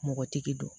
Mɔgɔtigi don